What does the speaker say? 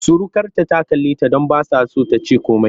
Surukarta ta kalleta don ba ta so ta ce komai.